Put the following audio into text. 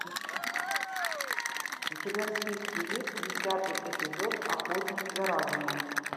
у тебя в списке есть десятый эпизод охотник за разумом